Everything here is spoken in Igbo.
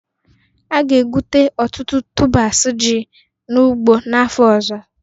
A ga-egbute ọtụtụ tubers ji n'ugbo n'afọ ọzọ